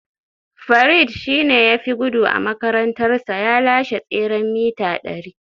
Farid shi ne ya fi gudu a makarantarsa, ya lashe tseren mita dari